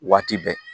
Waati bɛɛ